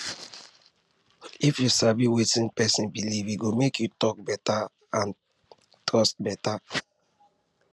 if you sabi wetin person believe e go make talk talk and trust better